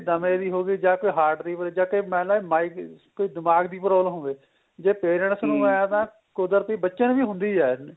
ਦਮੇ ਦੀ ਹੋਗੀ ਜਾਂ ਕੋਈ heart ਦੀ ਹੋਈ ਜਾਂ ਕੋਈ ਮੰਨ ਲੈ ਕੋਈ ਦਿਮਾਗ ਦੀ problem ਹੋਵੇ ਜੇ parents ਹੈ ਤਾਂ ਕੁਦਰਤੀ ਬੱਚੇ ਨੂੰ ਵੀ ਹੁੰਦੀ ਏ